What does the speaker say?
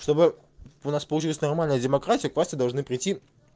чтобы у нас получилось нормально демократии к власти должны прийти